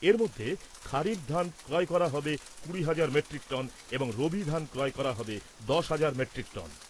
এরমধ্যে খারিফ ধান ক্রয় করা হবে কুড়ি হাজার মেট্রিক টন এবং রবি ধান ক্রয় করা হবে দশ হাজার মেট্রিক টন ।